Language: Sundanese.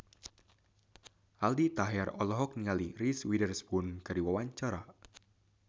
Aldi Taher olohok ningali Reese Witherspoon keur diwawancara